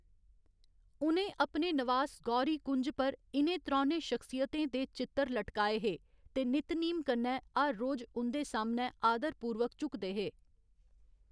उ'नें अपने नवास गौरी कुंज पर इ'नें त्रौनें शख्सियतें दे चित्तर लटकाए हे ते नित नीम कन्नै हर रोज उं'दे सामनै आदरपूर्वक झुकदे हे।